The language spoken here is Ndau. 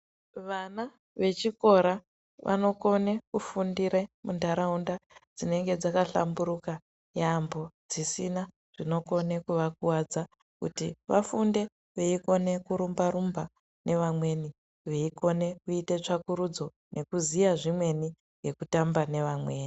Vana vechikora vanokone kufundire muntaraunda dzinenge dzakahlamburuka yaampo dzisina zvinokone kuvakuwadza kuti vafunde veikone kurumba rumba nevamweni veikone kuite tsvakurudzo nekuziya zvimweni ngekutamba nevamweni.